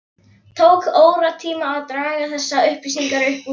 Tók óratíma að draga þessar upplýsingar upp úr Lenu.